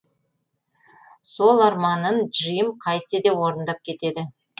сол арманын джим қайтсе де орындап кетеді